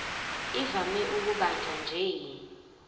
ivame ukubanjwa nje